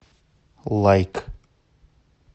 лайк